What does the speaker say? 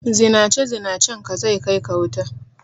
Zinace Zinacen ka zai kai ka wuta